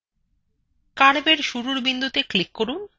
curveএর শুরুর বিন্দুতে click করুন